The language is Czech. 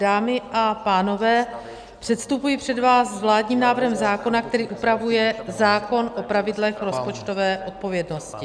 Dámy a pánové, předstupuji před vás s vládním návrhem zákona, který upravuje zákon o pravidlech rozpočtové odpovědnosti.